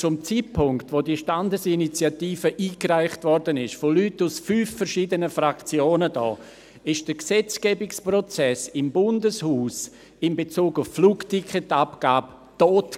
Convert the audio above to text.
Zum Zeitpunkt, als die Standesinitiative eingereicht wurde, von Leuten aus fünf verschiedenen Fraktionen hier, war der Gesetzgebungsprozess im Bundeshaus in Bezug auf die Flugticketabgabe tot.